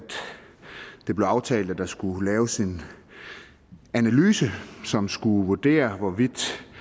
det blev aftalt at der skulle laves en analyse som skulle vurdere hvorvidt